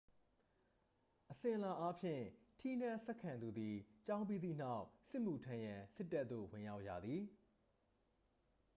အစဉ်အလာအားဖြင့် ထီးနန်းဆက်ခံသူသည် ကျောင်းပြီးသည့်နောက် စစ်မှုထမ်းရန် စစ်တပ်သို့ ဝင်ရောက်ရသည်